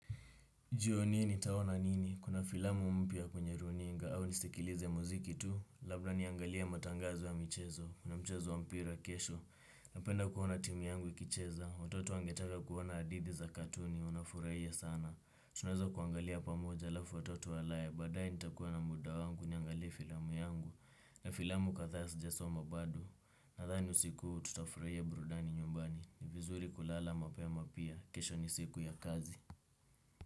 Jioni hii nitaona nini? Kuna filamu mpya kwenye runinga au nisikikilize muziki tu. Labda niangalia matangazi wa mchezo. Kuna mchezo wa mpira kesho. Napenda kuona timu yangu ikicheza. Watoto wangetanga kuona adidhi za katuni. Unafuraia sana. Tunaweza kuangalia pamoja lafu watoto alaye. Badae nitakuwa na muda wangu niangalie filamu yangu. Na filamu katha sijasoma bado. Nadhani usiku hu tutafuraia brudani nyumbani. Ni vizuri kulala mapema pia. Kesho ni siku ya kazi.